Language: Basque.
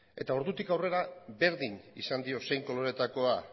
eta ordutik aurrera berdin izan dio zein koloreetakoa